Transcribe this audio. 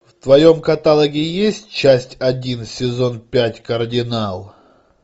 в твоем каталоге есть часть один сезон пять кардинал